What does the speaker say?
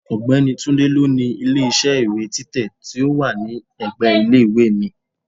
Ọ̀gbẹ́ni Tunde ló ni ilé iṣẹ́ ìwé títẹ̀ tí ó wà ní ẹ̀gbẹ́ ilé ìwé mi.